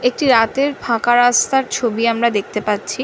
একটি রাতের ফাঁকা রাস্তার ছবি আমরা দেখতে পাচ্ছি।